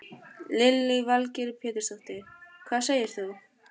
Lillý Valgerður Pétursdóttir: Hvað segir þú?